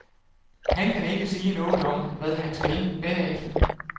Han kan ikke sige noget om, hvad han skal derefter.